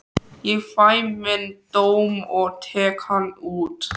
Ég fæ minn dóm og tek hann út.